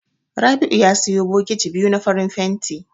Rabi'u ya siyo bokiti biyu na farin fenti.